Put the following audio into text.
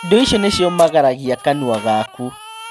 Indo icio nĩciũmagaragia kanua gaku